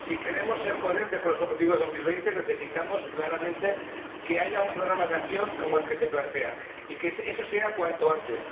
Si queremos ser coherentes con los objetivos de 2020, necesitamos claramente que haya un programa de acción como el que se plantea, y eso cuanto antes.